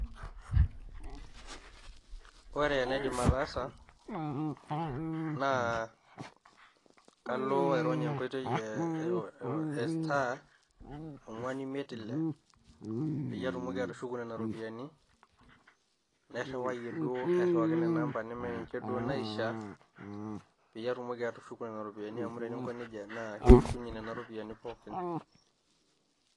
Ore enaidim ataasa naa kalo airony' enkoitoi e star, ongwan imiet ile peyie atumoki atushuku nena rupiani, nairuwaiyee duo airiwaki ina number neme ninye duo naishaa peiye atumoki atushuku nena ropiani amu tininko neija naa keshukunye nena ropiani pooki.